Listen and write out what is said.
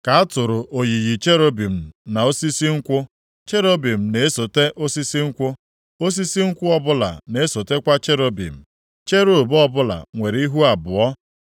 ka a tụrụ oyiyi cherubim na osisi nkwụ. Cherubim na-esota osisi nkwụ. Osisi nkwụ ọbụla na-esotakwa cherubim. Cherub ọbụla nwere ihu abụọ: